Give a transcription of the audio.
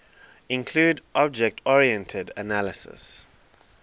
include object oriented analysis